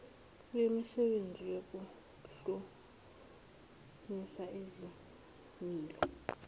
wemisebenzi yokuhlumisa izimilo